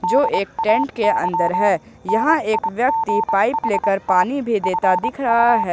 जो एक टेंट के अंदर है यहां एक व्यक्ति पाइप लेकर पानी भी देता दिख रहा है।